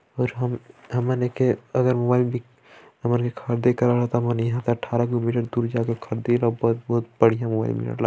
और हम हमन एके अगर मोबाइल अट्ठारा किलोमीटर दूर जाका खाद्ये अब्बर बहुत बढ़िया मोबाइल मिल --